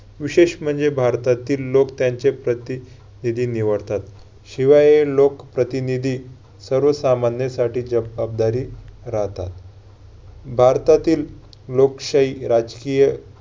विशेष म्हणजे भारतातील लोक त्यांचे प्रतिनिधी निवडतात. शिवाय लोक प्रतिनिधी सर्व सामान्यासाठी जबाबदारी राहतात. भारतातील लोकशाही राजकीय